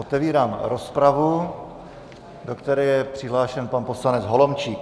Otevírám rozpravu, do které je přihlášen pan poslanec Holomčík.